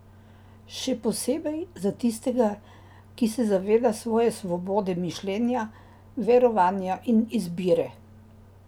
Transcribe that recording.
Še posebej za tistega, ki se zaveda svoje svobode mišljenja, verovanja in izbire.